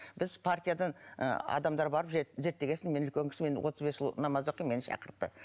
біз партиядан ы адамдар барып зеттеген соң мен үлкен кісі отыз бес жыл намаз оқимын мені шақыртты